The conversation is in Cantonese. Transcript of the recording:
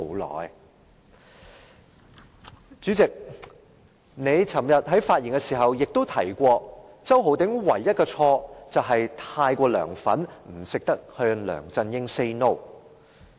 代理主席，你昨天發言時又提及，周浩鼎議員唯一的錯誤，便是太過"梁粉"，不懂得向梁振英 "say no"。